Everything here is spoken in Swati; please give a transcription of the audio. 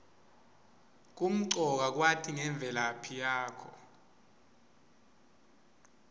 kumcoka kwati ngemvelaphi yakho